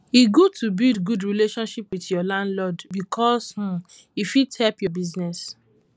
e good to build good relationship with your landlord bicos um e fit help your business